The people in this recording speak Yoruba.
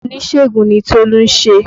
Iṣẹ́ oníṣègùn ni Tolu ń ṣe